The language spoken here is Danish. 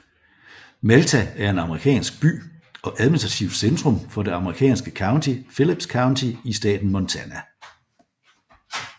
Malta er en amerikansk by og administrativt centrum for det amerikanske county Phillips County i staten Montana